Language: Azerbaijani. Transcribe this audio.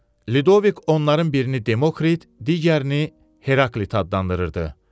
Lidovik onların birini Demokrit, digərini Heraklit adlandırırdı.